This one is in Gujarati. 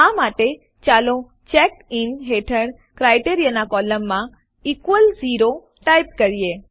આ માટે ચાલો ચેક્ડ ઇન હેઠળ ક્રાઈટેરિયન કોલમમાં ઇક્વલ્સ 0 ટાઈપ કરીએ